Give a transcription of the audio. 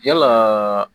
Yalaa